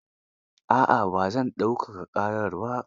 A'a ba zan daukaka ƙarar ba.